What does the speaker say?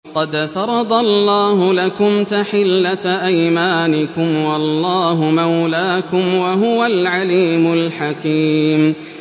قَدْ فَرَضَ اللَّهُ لَكُمْ تَحِلَّةَ أَيْمَانِكُمْ ۚ وَاللَّهُ مَوْلَاكُمْ ۖ وَهُوَ الْعَلِيمُ الْحَكِيمُ